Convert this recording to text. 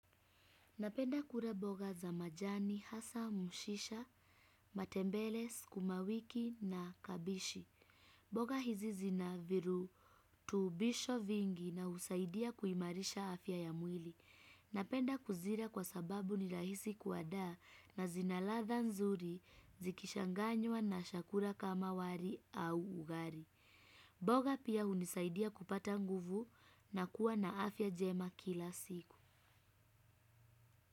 Napenda kula mboga za majani, hasa, mchicha, matembele, sukumawiki na kabichi. Mboga hizi zina virutubisho vingi na husaidia kuimarisha afya ya mwili. Napenda kuzila kwa sababu ni rahisi kuandaa na zina ladha nzuri zikichanganywa na vyakula kama wali au ugali. Mboga pia hunisaidia kupata nguvu na kuwa na afya njema kila siku.